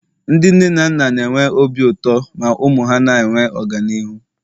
Ndị nne na nna na-enwe obi ụtọ ma ụmụ ha na-enwe ọganihu